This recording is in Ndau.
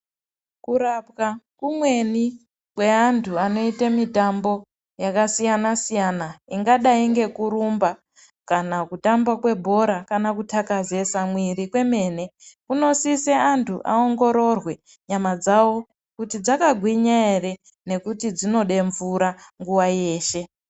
Kurapwa kumweni kwevantu vanoita mitambo yakasiyana siyana ingadai ngekurumba kana kutamba kwebhora kana kutakazesa mwiri kwemwene. Kunosisa antu aongororwe kuti mwiri dzawo dzakagwinya ere nekuti dzinoda mvura nguwa yeshe.